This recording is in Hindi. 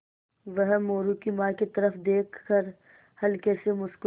वह मोरू की माँ की तरफ़ देख कर हल्के से मुस्कराये